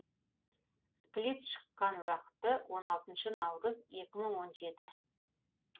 сплит шыққан уақыты он алтыншы наурыз екі мың он жеті